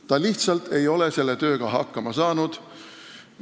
Ta lihtsalt ei ole selle tööga hakkama saanud.